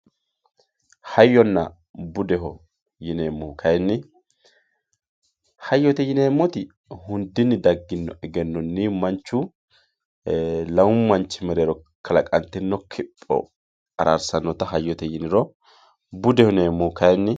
hayyonna budeho yineemohu kayiinni hayyote yineemoti hundinni dagino egennonni manchu lamu manch mereero kalaqantinno kopho araarsanota hayyote yiniro budeho yineemohu kayiinni